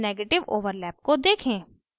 negative overlap को देखें